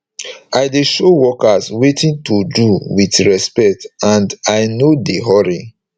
i dey show workers wetin to do with respect and i nor dey hurry